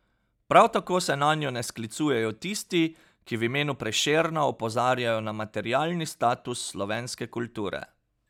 Prav tako se nanjo ne sklicujejo tisti, ki v imenu Prešerna opozarjajo na materialni status slovenske kulture.